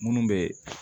Minnu bɛ